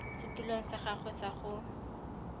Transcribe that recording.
setulong sa gagwe sa go